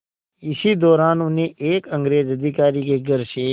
इसी दौरान उन्हें एक अंग्रेज़ अधिकारी के घर से